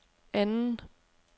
anden